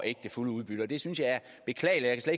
ikke det fulde udbytte og det synes jeg er beklageligt og